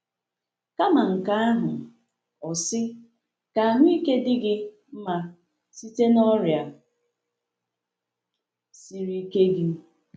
Kama nke ahụ, o sị: “Ka ahụike dị gị mma site n’ọrịa siri ike gị.”